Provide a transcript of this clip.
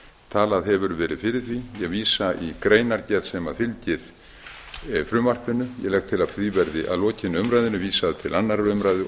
talað hefur verið fyrir því ég vísa í greinargerð sem fylgir frumvarpinu ég legg til að því verði að lokinni umræðunni vísað til annarrar umræðu og